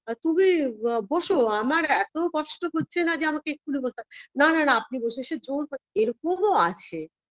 না তুমি বসো আ আমার এত কষ্ট হচ্ছে না যে আমাকে এখনই বসতে হবে না না না আপনি বসুন সে জোড় করে এরকমও আছে